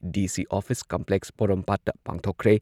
DC office complex ꯄꯣꯔꯣꯝꯄꯥꯠꯇ ꯄꯥꯡꯊꯣꯛꯈ꯭ꯔꯦ ꯫